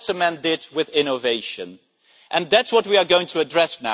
That is what cement did with innovation, and that is what we are now going to address.